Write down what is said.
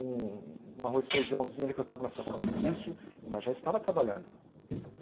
Um um arroz e feijãozinho ali, que eu estava numa situação difícil, mas já estava trabalhando.